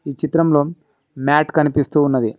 ఈ చిత్రంలో మ్యాట్ కనిపిస్తూ ఉన్నది.